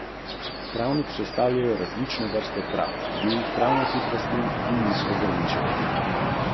Kakšni so vaši načrti?